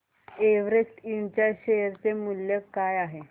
Everest इंड च्या share चे मूल्य काय आहे